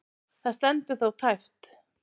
Það stendur þó tæpt.